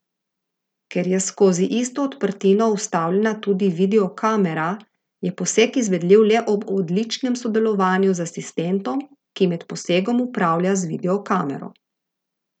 Ker je skozi isto odprtino vstavljena tudi videokamera, je poseg izvedljiv le ob odličnem sodelovanju z asistentom, ki med posegom upravlja z videokamero.